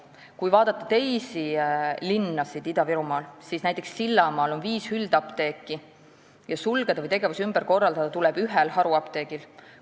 Kui vaadata teisi linnu Ida-Virumaal, siis näiteks Sillamäel on viis üldapteeki, sulgeda või tegevus ümber korraldada tuleb ühel haruapteegil.